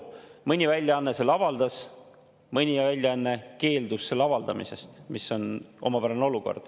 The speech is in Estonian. Mõni väljaanne selle avaldas, mõni väljaanne keeldus selle avaldamisest, mis on omapärane olukord.